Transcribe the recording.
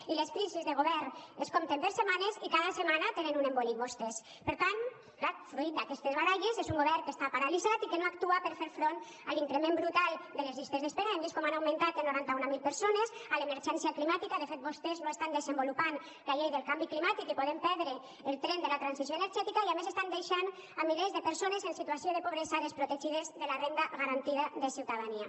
i les crisis de govern es compten per setmanes i cada setmana tenen un embolic vostès per tant clar fruit d’aquestes baralles és un govern que està paralitzat i que no actua per fer front a l’increment brutal de les llistes d’espera que hem vist com han augmentat en noranta mil persones a l’emergència climàtica de fet vostès no estan desenvolupant la llei del canvi climàtic i podem perdre el tren de la transició energètica i a més estan deixant milers de persones en situació de pobresa desprotegides de la renda garantida de ciutadania